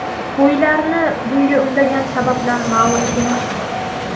Qo‘ylarni bunga undagan sabablar ma’lum emas.